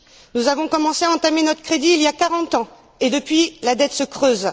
Nous avons commencé à entamer notre crédit il y a quarante ans et depuis, la dette se creuse.